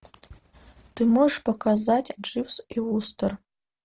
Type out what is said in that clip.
ты можешь показать дживс и вустер